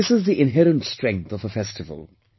This is the inherent strength of a festival